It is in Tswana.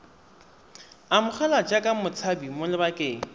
amogelwa jaaka motshabi mo lebakeng